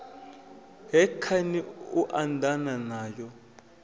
he khani lu anḓana nayo